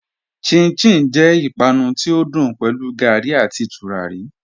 Chin-chin jẹ ìpànù tí o dùn pẹ̀lú gárí àti túràrí.